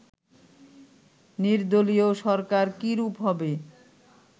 নির্দলীয় সরকার কী রূপ হবে